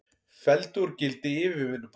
Felldu úr gildi yfirvinnubann